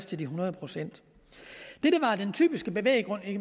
til de hundrede procent det der var den typiske bevæggrund